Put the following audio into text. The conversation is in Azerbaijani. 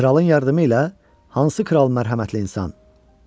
Kralın yardımı ilə hansı kral mərhəmətli insan?